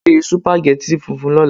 Se sùpàgẹ́tì funfun lọ́la.